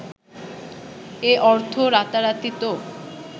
এ অর্থ রাতারাতি তো